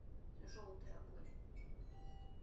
желтые обои